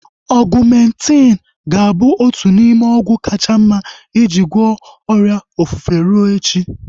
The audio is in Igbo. Ọgumentin ga-abụ otu n'ime ọgwụ kacha mma iji gwọọ ọrịa ofufe rue echi